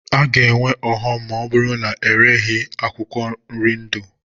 A ga-enwe ọghọm ma ọ bụrụ na ereghi akwụkwọ nri ndụ.